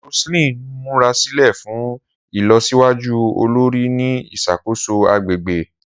Roseline n murasilẹ fun ilọsiwaju olori ni iṣakoso agbegbe.